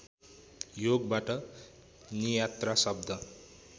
योगबाट नियात्रा शब्द